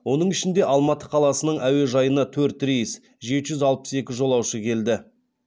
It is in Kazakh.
оның ішінде алматы қаласының әуежайына төрт рейс жеті жүз алпыс екі жолаушы келді